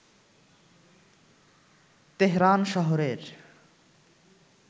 Tehran শহরের